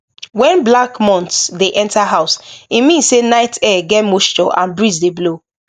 when black moths dey enter house e mean say night air get moisture and breeze dey blow